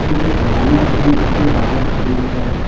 कुछ गाड़ियां भी उसके बाहर खड़ी हैं।